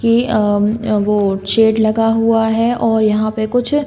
की अ अम वो शेड लगा हुआ है और यहाँ पे कुछ --